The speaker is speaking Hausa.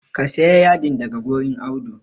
Ka sayi yadin daga wurin Audu